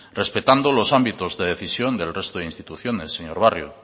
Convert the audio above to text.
respetando los ámbitos de decisión del resto de instituciones señor barrio